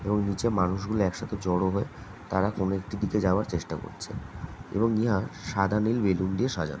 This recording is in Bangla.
এবং নিচে মানুষ গুলো একসাথে জড়ো হয়ে তারা কোনো একটি দিকে যাওয়ার চেষ্টা করছে এবং ইয়া সাদা নীল বেলুন দিয়ে সাজানো।